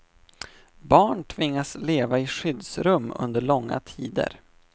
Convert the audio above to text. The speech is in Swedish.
Barn tvingas leva i skyddsrum under långa tider.